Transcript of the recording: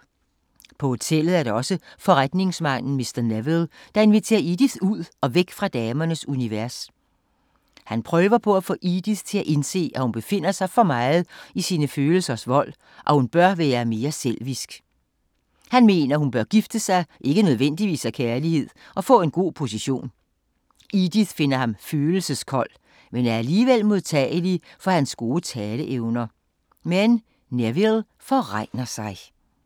På hotellet er der også forretningsmanden Mr. Neville, der inviterer Edith ud og væk fra damernes univers. Han prøver at få Edith til at indse, at hun befinder sig for meget i sine følelsers vold, og at hun bør være mere selvisk. Han mener, hun bør gifte sig, ikke nødvendigvis af kærlighed, og få en god position. Edith finder ham følelseskold, men er alligevel modtagelig for hans gode taleevner. Men Neville forregner sig…